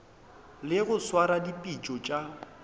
le go swara dipitšo tša